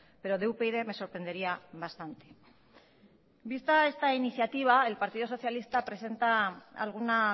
pero de upyd me sorprendería bastante vista esta iniciativa el partido socialista presenta alguna